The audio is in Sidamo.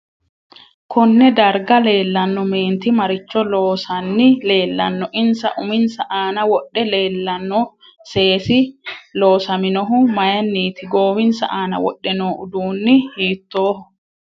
Konne dargaa leelanno meenti maricho loosani leelanno insa uminsa aana wodhe leelanno seesi loosaminohu mayiiniti goowinsa aana wodhe noo uduuni hiitooho